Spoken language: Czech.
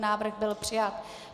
Návrh byl přijat.